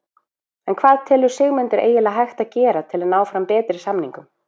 En hvað telur Sigmundur eiginlega hægt að gera til að ná fram betri samningum?